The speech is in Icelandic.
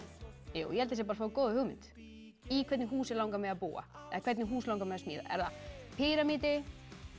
ég held það sé að fá góða hugmynd í hvernig húsi langar mig að búa eða hvernig hús langar mig að smíða er það píramídi